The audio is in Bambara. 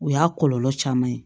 O y'a kɔlɔlɔ caman ye